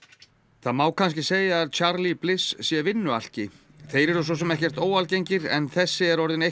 það má kannski segja að Charlie Bliss sé vinnualki þeir eru svo sem ekkert óalgengir en þessi er orðinn